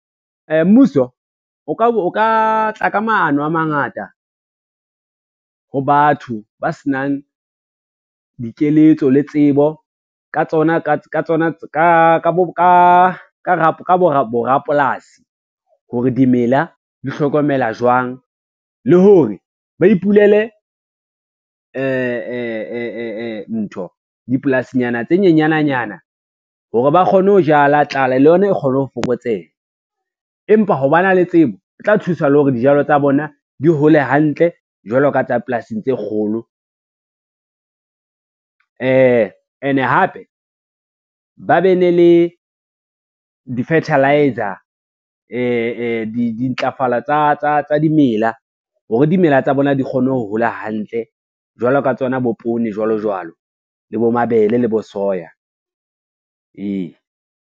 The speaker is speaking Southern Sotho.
Mmuso o ka tla ka maano a mangata ho batho ba senang dikeletso le tsebo ka bo rapolasi, hore dimela di hlokomela jwang le hore ba ipulele ntho dipolasinyana tse nyenyana nyana hore ba kgone ho jala tlala le yona e kgone ho fokotseha. Empa ho ba na le tsebo e tla thusa le hore dijalo tsa bona di hole hantle jwalo ka tsa polasing tse kgolo, ene hape ba be ne le di-fertiliser dintlafala tsa dimela, hore dimela tsa bona di kgone ho hola hantle jwalo ka tsona bo poone, jwalo jwalo le bo mabele le bo soya, ee.